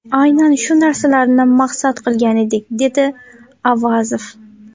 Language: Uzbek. Aynan shu narsalarni maqsad qilgan edik”, dedi Avazov.